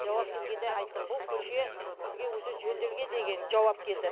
жауап келгенде айтты бұл көше бізге уже жөнделген деген жауап келді